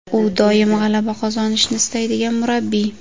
U doim g‘alaba qozonishni istaydigan murabbiy.